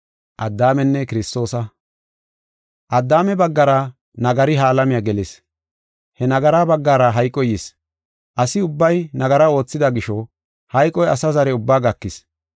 Addaame baggara nagari ha alamiya gelis. He nagaraa baggara hayqoy yis. Asi ubbay nagara oothida gisho hayqoy asa zare ubbaa gakis.